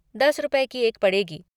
दस रुपए की एक पड़ेगी।